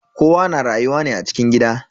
Kowa na rayuwa ne a cikin gida.